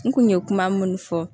N kun ye kuma minnu fɔ